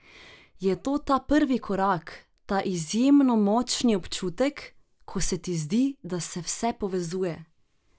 Je to ta prvi korak, ta izjemno močni občutek, ko se ti zdi, da se vse povezuje?